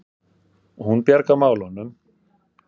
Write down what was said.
Hún bjargar málunum.